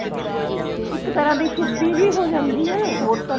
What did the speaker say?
ਇੱਕ ਤਰਾਂ ਦੀ ਸ਼ੁਧੀ ਜੀ ਹੋ ਜਾਂਦੀ ਹੈ ਹੋ ਤਾਂ